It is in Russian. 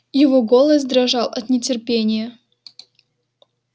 его голос дрожал от нетерпения